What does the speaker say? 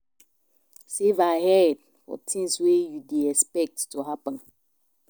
Save ahead for things wey you dey expect to happen